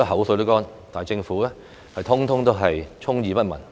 我盡費唇舌，政府卻充耳不聞。